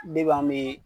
Depi an be